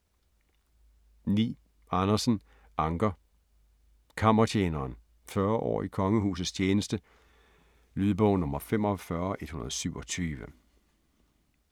9. Andersen, Anker: Kammertjeneren: 40 år i kongehusets tjeneste Lydbog 45127